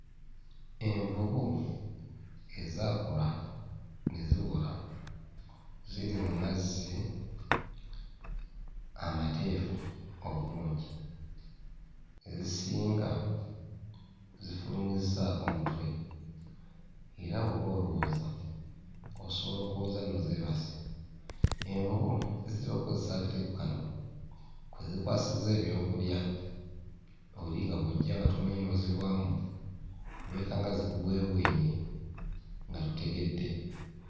Envubu ezaakula ne ziwola ziri mu mazzi amateefu obulungi. Ezisinga zifulumizzaako mutwe era bw'oba olowooza osobola okulowooza nno zeebase. Envubu zitera okkozesa akatego kano kwe zikwasiza ebyokulya, oli nga bw'ojja nga tomanyi n'ozigwamu, weekanga zikubwebwenye nga totegedde.